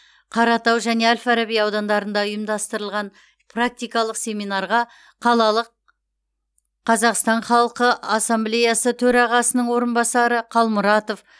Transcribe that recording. қаратау және әл фараби аудандарында ұйымдастырылған практикалық семинарға қалалық қазақстан халқы ассамблеясының төрағасының орынбасары қалмұратов